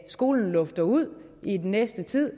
skolen lufter ud i den næste tid at